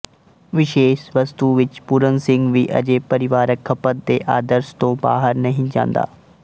ਵਿਸ਼ੇਸ਼ ਵਸਤੂ ਵਿੱਚ ਪੂਰਨ ਸਿੰਘ ਵੀ ਅਜੇ ਪਰਿਵਾਰਕ ਖਪਤ ਦੇ ਆਦਰਸ਼ ਤੋਂ ਬਾਹਰ ਨਹੀਂ ਜਾਂਦਾ